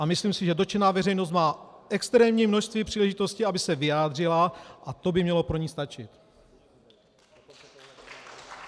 A myslím si, že dotčená veřejnost má extrémní množství příležitostí, aby se vyjádřila, a to by mělo pro ni stačit.